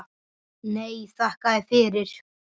Nei, þakka þér fyrir.